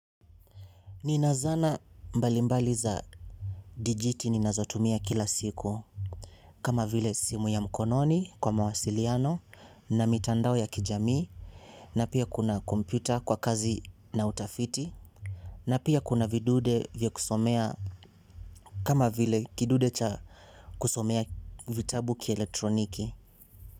Ninazana mbalimbali za dijiti ninazotumia kila siku. Kama vile simu ya mkononi kwa mawasiliano na mitandao ya kijamii. Na pia kuna komyuta kwa kazi na utafiti. Napia kuna vidude vya kusomea kama vile kidude cha kusomea vitabu kieletroniki.